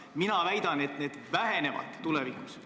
Mina väidan, et need vähenevad tulevikus.